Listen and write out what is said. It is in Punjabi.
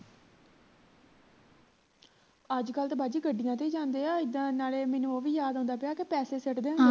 ਅੱਜਕਲ ਤਾਂ ਬਾਜੀ ਗੱਡੀਆਂ ਤੇ ਹੀ ਜਾਂਦੇ ਹੈ ਇੱਦਾਂ ਨਾਲੇ ਮੈਨੂੰ ਉਹ ਵੀ ਯਾਦ ਆਉਂਦਾ ਪਿਆ ਕਿ ਪੈਸੇ ਸਿੱਟਦੇ ਹੁੰਦੇ ਸੀ